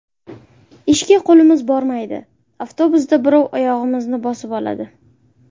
Ishga qo‘limiz bormaydi, avtobusda birov oyog‘imizni bosib oladi.